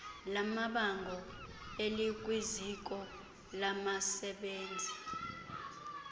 lamabango elikwiziko labasebenzii